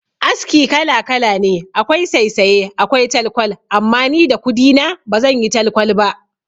Aski kala kala ne akwai saysaye akwai talkwal, amma ni da kudi na ba zan yi talkwal ba.